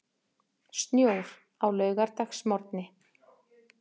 Snjór á laugardagsmorgni